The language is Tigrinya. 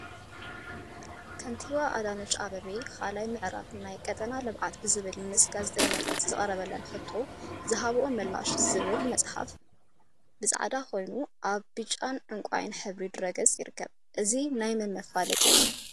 ከንቲባ አዳነች አቤቤ 2ይ ምዕራፍ ናይ ቀጠና ልምዓት ብዝብል ምስ ጋዜጠኛታት ዝቀረበለን ሕቶ ዝሃብኦ ምላሽ ዝብል ፅሑፍ ብፃዕዳ ኮይኑ አብ ብጫን ዕንቋይን ሕብሪ ድሕረ ገፅ ይርከብ፡፡ እዚ ናይ መን መፋለጢ እዩ?